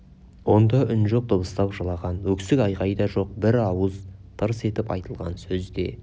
онда үн жоқ дыбыстап жылаған өксік айғай да жоқ бір ауыз тырс етіп айтылған сөз де